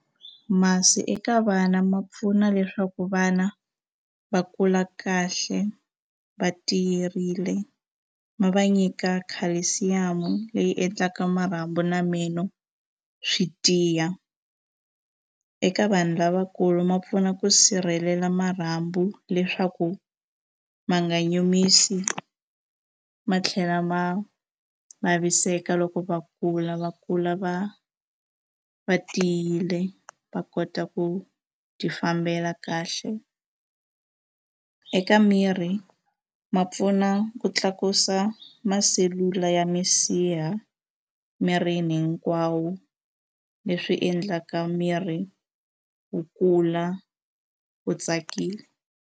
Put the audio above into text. Masi eka vana ma pfuna leswaku vana va kula kahle va tiyerile ma va nyika calcium leyi endlaka marhambu na meno swi tiya eka vanhu lavakulu ma pfuna ku sirhelela marhambu leswaku ma nga nyumisi ma tlhela ma vaviseka loko va kula va kula va va tiyile va kota ku ti fambela kahle eka miri ma pfuna ku tlakusa masi selula ya misiha mirini hinkwawo leswi endlaka miri wu kula wu tsakile.